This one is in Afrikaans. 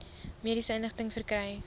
mediese inligting verkry